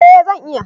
Eh zan iya